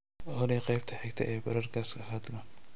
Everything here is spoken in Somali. olly qaybta xigta ee podcast fadlan